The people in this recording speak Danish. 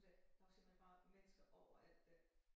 Hun sagde der var simpelthen bare mennesker overalt dér